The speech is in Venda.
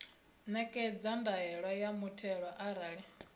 ṋekedza ndaela ya muthelo arali